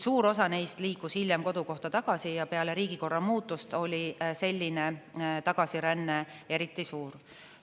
Suur osa neist liikus aga hiljem kodukohta tagasi ja peale riigikorra muutust oli selline tagasiränne eriti suur.